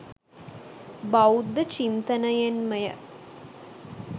බෞද්ධ චින්තනයෙන් ම ය.